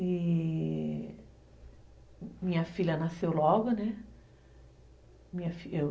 E... Minha filha nasceu logo, né?